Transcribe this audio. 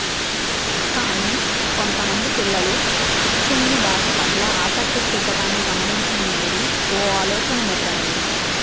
కానీ కొంతమంది పిల్లలు ఉచ్చుమ్ని భాష పట్ల ఆసక్తి చూపడాన్ని గమనించిన మేరీలో ఓ ఆలోచన మొదలయ్యింది